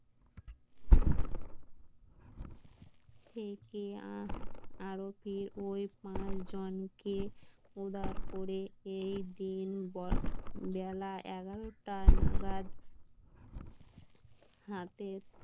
ওই পাঁচজনকে উদার করে এই দিন বেলা এগারোটা নাগাদ হাতে